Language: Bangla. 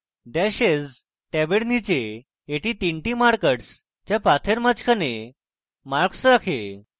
dashes ট্যাবের নীচে এটি 3 markers যা পাথের মাঝখানে markers রাখে